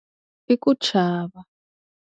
I ku chava.